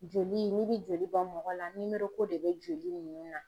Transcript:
Joli n'i bɛ joli bɔ mɔgɔ la ko de bɛ joli ninnu na.